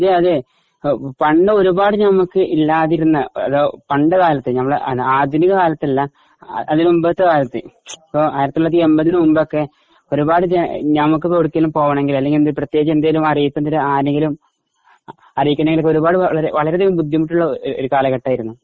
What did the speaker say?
ങാ അതേ അതേ പണ്ട് ഒരുപാടു നമുക്ക് ഇല്ലാതിരുന്ന പണ്ടുകാലത്തു നമ്മുടെ ആധുനിക കാലത്തല്ല, അതിന് മുൻപുള്ള കാലത്തു 1980 ന് മുൻപൊക്കെ ഒരുപാട് നമുക്കെവിടെങ്കിലും പോണെങ്കി അല്ലെങ്കി പ്രത്യേകിച്ച് എന്തേലും അറിയിപ്പ് ആരെയെങ്കിലും അറിയിക്കണോങ്കി ഒരുപാട് വളരെയധികം ബുദ്ധിമുട്ടുള്ള ഒരു കാലഘട്ടമായിരുന്നു.